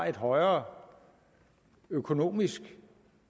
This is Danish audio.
et højere økonomisk